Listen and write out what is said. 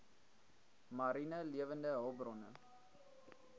mariene lewende hulpbronne